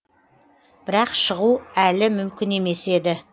бірақ шығу әлі мүмкін емес еді